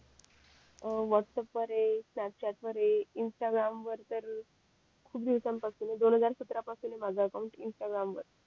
WhatsApp वर ये Snapchat वर ये इंस्टाग्राम वर तर खूप दिवसान पासून ये दोन हजार सत्रा पासून ये माझं अकाउंट इंस्टाग्राम वर